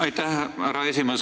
Aitäh, härra esimees!